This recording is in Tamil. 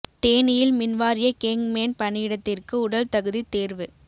தேனியில் மின் வாரிய கேங் மேன் பணியிடத்திற்கு உடல் தகுதித் தோ்வு